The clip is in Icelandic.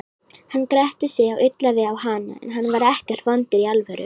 Hann gretti sig og ullaði á hana, en hann var ekkert vondur í alvöru.